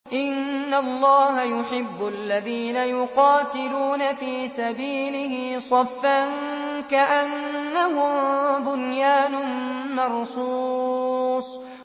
إِنَّ اللَّهَ يُحِبُّ الَّذِينَ يُقَاتِلُونَ فِي سَبِيلِهِ صَفًّا كَأَنَّهُم بُنْيَانٌ مَّرْصُوصٌ